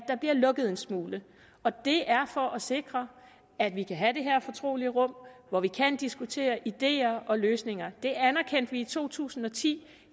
der bliver lukket en smule og det er for at sikre at vi kan have det her fortrolige rum hvor vi kan diskutere ideer og løsninger det anerkendte vi i to tusind og ti